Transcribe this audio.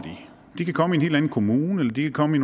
de kan komme i en helt anden kommune de kan komme i